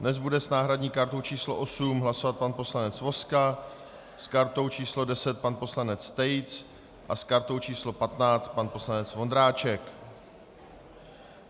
Dnes bude s náhradní kartou číslo 8 hlasovat pan poslanec Vozka, s kartou číslo 10 pan poslanec Tejc a s kartou číslo 15 pan poslanec Vondráček.